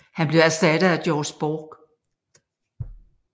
Han blev erstattet af George Borg